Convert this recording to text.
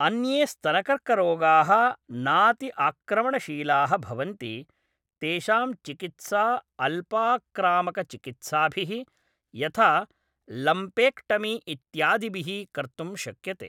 अन्ये स्तनकर्करोगाः नाति आक्रमणशीलाः भवन्ति, तेषां चिकित्सा अल्पाक्रामकचिकित्साभिः, यथा लम्पेक्टमी इत्यादिभिः कर्तुं शक्यते।